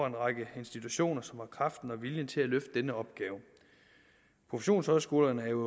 en række institutioner som har kraften og viljen til at løfte denne opgave professionshøjskolerne er jo